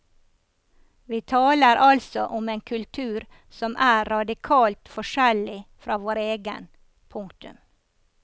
Vi taler altså om en kultur som er radikalt forskjellig fra vår egen. punktum